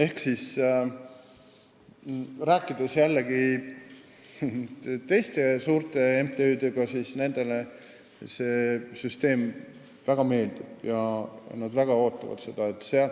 Kui rääkida teiste suurte MTÜ-dega, siis nendele see süsteem väga meeldib ja nad väga ootavad seda.